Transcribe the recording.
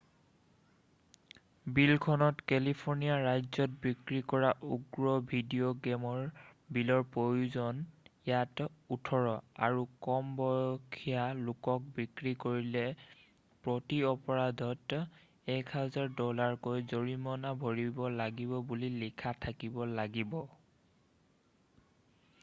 "বিলখনত কেলিফৰ্ণিয়া ৰাজ্যত বিক্ৰী কৰা উগ্ৰ ভিডিঅ' গেমৰ বিলৰ প্ৰয়োজন ইয়াত "18" আৰু কম বয়সীয়া লোকক বিক্ৰী কৰিলে প্ৰতি অপৰাধত $1000 কৈ জৰিমনা ভৰিব লাগিব বুলি লিখা থাকিব লাগিব। "